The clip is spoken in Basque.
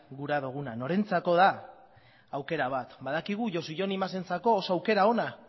gura duguna norentzako den aukera bat badakigu josu jon imazentzako oso aukera ona